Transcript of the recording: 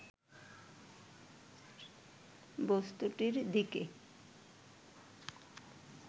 বস্তুটির দিকে